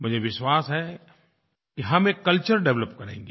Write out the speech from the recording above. मुझे विश्वास है कि हम एक कल्चर डेवलप करेंगे